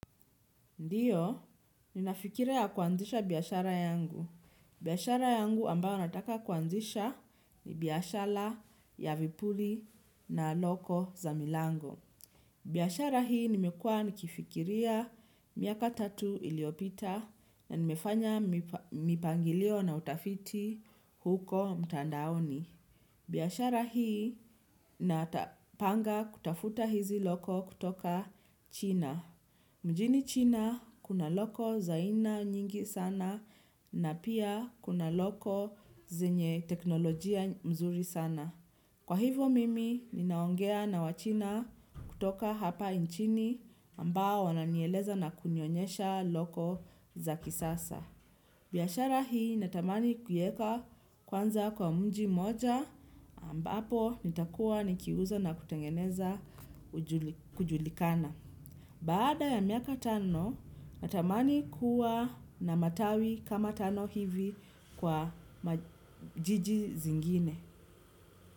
Ndio, ninafikiria kuanzisha biashara yangu. Biashara yangu ambayo nataka kuanzisha ni biashara ya vipuli na loko za milango. Biashara hii nimekua nikifikiria miaka tatu iliyopita na nimefanya mipangilio na utafiti huko mtandaoni. Biashara hii natapanga kutafuta hizi loko kutoka China. Mjini China, kuna loko za aina nyingi sana na pia kuna loko zenye teknolojia nzuri sana. Kwa hivo mimi, ninaongea na wachina kutoka hapa nchini ambao wananieleza na kunionyesha loko za kisasa. Biashara hii natamani kuieka kwanza kwa mji mmoja ambapo nitakuwa nikiuza na kutengeneza kujulikana. Baada ya miaka tano, natamani kuwa na matawi kama tano hivi kwa majiji zingine.